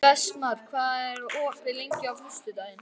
Vestmar, hvað er opið lengi á föstudaginn?